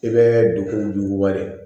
I bɛ dugu wale